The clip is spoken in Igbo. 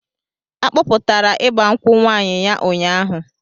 A kpọpụtara ịgba nkwụ nwaanyị ya ụnyaahụ.